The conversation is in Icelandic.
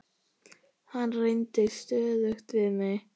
Hann reyndi stöðugt við mig.